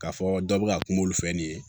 K'a fɔ dɔ bɛ ka kuma olu fɛ nin ye